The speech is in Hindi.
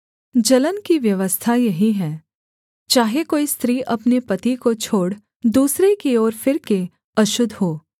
जलन की व्यवस्था यही है चाहे कोई स्त्री अपने पति को छोड़ दूसरे की ओर फिरके अशुद्ध हो